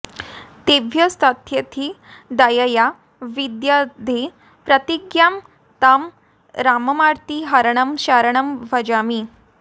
तेभ्यस्तथेति दयया विदधे प्रतिज्ञां तं राममार्तिहरणं शरणं भजामि